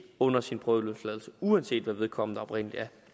under sin prøveløsladelse uanset hvad vedkommende oprindelig er